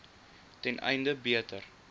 ten einde beter